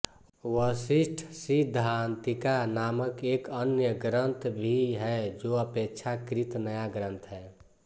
वशिष्ठसिद्धान्तिका नामक एक अन्य ग्रन्थ भी है जो अपेक्षाकृत नया ग्रन्थ है